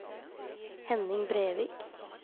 Henning Brevik